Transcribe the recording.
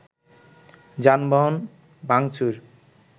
যানবাহন ভাঙচুর